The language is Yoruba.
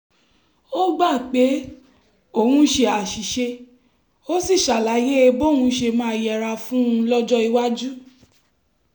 ó gbà pé òun ṣe àṣìṣe ó sì ṣàlàyé bóun ṣe máa yẹra fún un lọ́jọ́ iwájú